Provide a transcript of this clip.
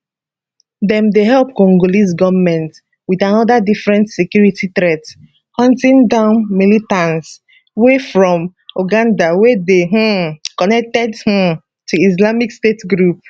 dem dey help congolese goment with anoda different security threat hunting down militants wey from uganda wey dey um connected um to islamic state group